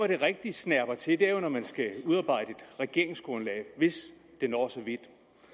det rigtig snerper til er jo når man skal udarbejde et regeringsgrundlag hvis det når så vidt